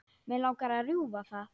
Mig langar að rjúfa það.